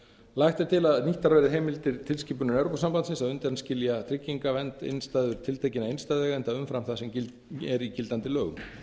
lagt er til að nýttar verði heimildir tilskipunar evrópusambandsins að undanskilja tryggingavernd innstæður tiltekinna innstæðueigenda umfram það sem er í gildandi lögum